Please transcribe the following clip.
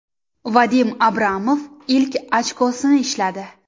Vadim Abramov ilk ochkosini ishladi.